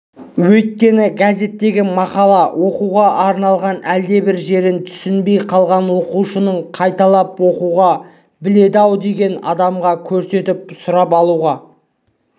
өйткені газеттегі мақала оқуға арналған әлдебір жерін түсінбей қалған оқушының қайталап оқуға біледі-ау деген адамға көрсетіп сұрап алуға